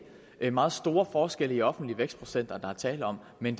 er meget store forskelle i offentlige vækstprocenter der er tale om men